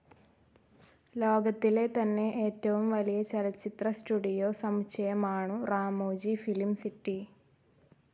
ലോകത്തിലെ തന്നെ ഏറ്റവും വലിയ ചലച്ചിത്ര സ്റ്റുഡിയോ സമുച്ചയമാണു റാമോജി ഫിലിം സിറ്റി.